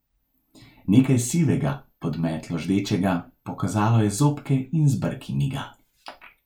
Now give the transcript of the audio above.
Nekaj sivega, pod metlo ždečega, pokazalo je zobke in z brki miga.